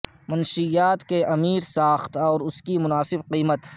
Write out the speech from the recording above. منشیات کے امیر ساخت اور اس کی مناسب قیمت